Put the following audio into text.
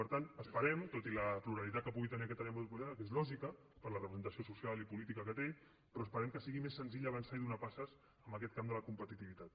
per tant esperem tot i la pluralitat que pugui tenir aquesta àrea metropolitana que és lògica per la representació social i política que té però esperem que sigui més senzill avançar i donar passes en aquest camp de la competitivitat